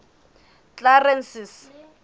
clarence's